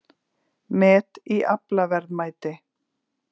Met í aflaverðmæti